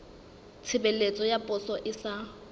tshebeletso ya poso e sa